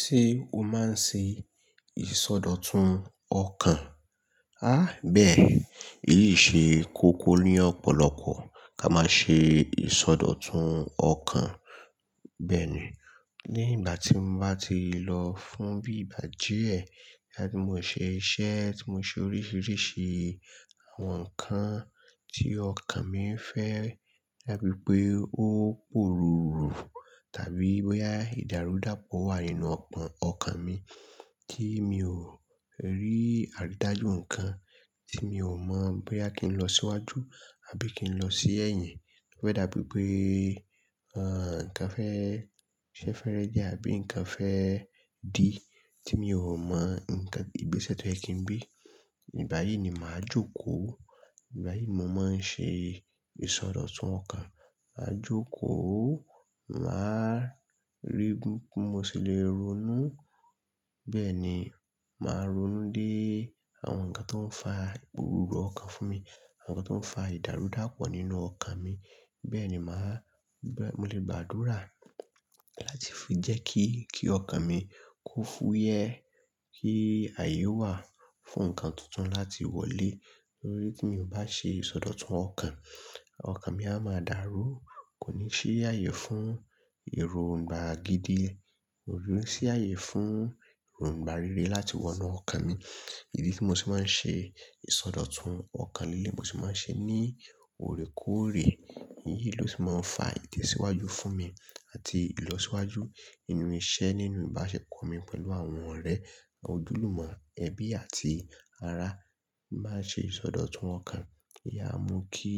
Ṣé o máa ń ṣe ìsọdọ̀tun ọkàn? Há bẹ́ẹ̀, eyi ṣe kókó ni ọ̀pọ̀lọpọ̀ ká máa ṣe ìsọdọ̀tun ọkàn. Bẹ́ẹ̀ ni, nígbà tí mo bá ti lọ fún bí ìgbà díẹ̀ láti mo ṣe iṣẹ́, tí mo ṣe oríṣiríṣi àwọn nǹkan tí ọkàn mi ń fẹ́, dabi pé ó pòrùrù tàbí bóyá ìdàrúdàpọ̀ wà nínú ọpọ́n ọkàn mi tí mi ò rí àrídájú nǹkan, tí mi ò mọ̀ bóyá kí n lọ síwájú àbí kí n lọ sí ẹ̀yìn. Ó fẹ́ dàbí pé, àń, nǹkan fẹ́ ṣẹ fẹ́rẹ dí àbí nǹkan fẹ́ dì tí mi ò mọ̀ nǹkan, ìgbésẹ̀ tó ẹ kín gbé. Ìgbáyìí ni màá jókòó, ìgbáyìí mo máa ń ṣe ìsọdọ̀tun ọkàn. Màá jókòó, màá rí bí mo ṣe lè ronú. Bẹ́ẹ̀ ni, màá ronú dé àwọn nǹkan tó ń fa ìpòrùrù ọkàn fún mi, àwọn nǹkan tó ń fa ìdàrúdàpọ̀ nínú ọkàn mi. Bẹ́ẹ̀ ni màá, mo lè gba àdúrà láti fi jẹ́ kí, kí ọkàn mi kó fúyẹ́, kí ààyè wà fún nǹkan tuntun láti wọlé. Nítorí tí mi ò bá ṣe ìsọdọ̀tun ọkàn, ọkàn mi a máa dàrú, kò ní ṣí ààyè fún èròǹgbà gidi, kò ní ṣí ààyè fún èròǹgbà rere láti wọ inú ọkàn mi. Idí tí mo sì máa ń ṣe ìsọdọ̀tun ọkàn líle, mo sì máa ń ṣe ní orekoore. Èyí ló ti máa ń fa ìtẹ̀síwájú fún mi àti ìlọsíwájú inú iṣẹ́ nínú ìbáṣepọ̀ mi pẹ̀lú àwọn ọ̀rẹ́, àwọn ojúlùmọ́, ẹbí àti ará. Máa ṣe ìsọdọ̀tun ọkàn yà mú kí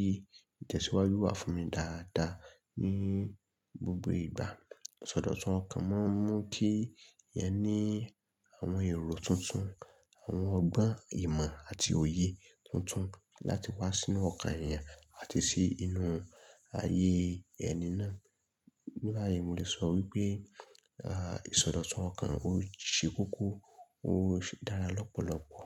ìtẹ̀síwájú wà fún mi dáadáa ní gbogbo ìgbà. Ìsọdọ̀tun ọkàn máa ń mú kí ẹeyan ní àwọn èrò tuntun, àwọn ọgbọ́n ìmọ̀ àti òye tuntun láti wá sínú ọkàn èèyàn àti sí inú ayé ẹni náà. Ní bàyìí, mo lè sọ wípé, àh, ìsọdọ̀tun ọkàn ó ṣe kókó, ó ṣe dára lọ́pọ̀lọpọ̀.